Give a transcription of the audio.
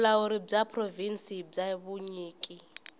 vulawuri bya provhinsi bya vunyiki